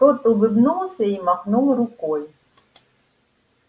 тот улыбнулся и махнул рукой